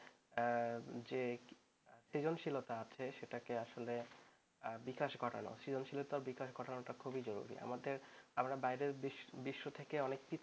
যে সৃজনশীলতা আছে সেটাকে আসলে বিকাশ ঘটানো সৃজনশীলতার বিকাশ ঘটানোটা খুবই জরুরি আমরা বাইরের বিশ্ব থেকে অনেক কিছু